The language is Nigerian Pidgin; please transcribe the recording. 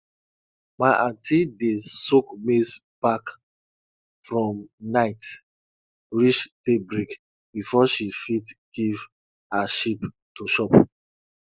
my aunty dey soak maize bark from night reach daybreak before she fit give her sheep to chop